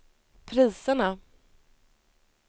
priserna